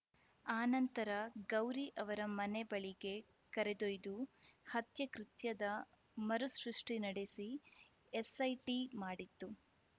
ಆನಂತರ ಗೌರಿ ಅವರ ಮನೆ ಬಳಿಗೆ ಕರೆದೊಯ್ದು ಹತ್ಯೆ ಕೃತ್ಯದ ಮರು ಸೃಷ್ಟಿ ನಡೆಸಿ ಎಸ್‌ಐಟಿ ಮಾಡಿತ್ತು